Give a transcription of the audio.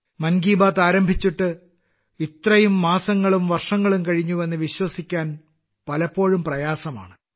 മൻ കി ബാത്ത് ആരംഭിച്ച് ഇത്രയും മാസങ്ങളും വർഷങ്ങളും കഴിഞ്ഞുവെന്ന് വിശ്വസിക്കാൻ പലപ്പോഴും പ്രയാസമാണ്